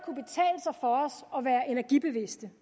energibevidste